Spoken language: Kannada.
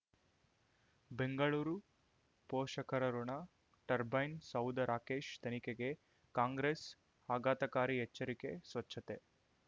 ಬೆಂಗಳೂರು ಪೋಷಕರಋಣ ಟರ್ಬೈನ್ ಸೌಧ ರಾಕೇಶ್ ತನಿಖೆಗೆ ಕಾಂಗ್ರೆಸ್ ಆಘಾತಕಾರಿ ಎಚ್ಚರಿಕೆ ಸ್ವಚ್ಛತೆ